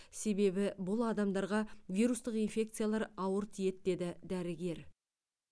себебі бұл адамдарға вирустық инфекциялар ауыр тиеді деді дәрігер